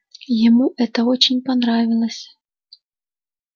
ему это очень понравилось